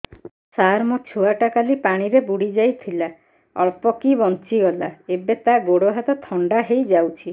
ସାର ମୋ ଛୁଆ ଟା କାଲି ପାଣି ରେ ବୁଡି ଯାଇଥିଲା ଅଳ୍ପ କି ବଞ୍ଚି ଗଲା ଏବେ ତା ଗୋଡ଼ ହାତ ଥଣ୍ଡା ହେଇଯାଉଛି